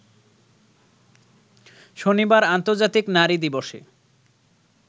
শনিবার আর্ন্তজাতিক নারী দিবসে